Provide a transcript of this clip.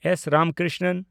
S. Ramakrishnan